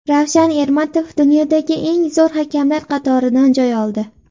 Ravshan Ermatov dunyodagi eng zo‘r hakamlar qatoridan joy oldi.